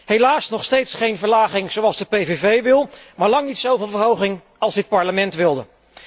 Helaas nog steeds geen verlaging, zoals de PVV wil, maar lang niet zoveel verhoging als dit Parlement wilde.